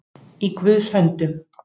Í Guðs höndum